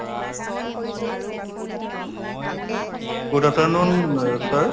good afternoon অ sir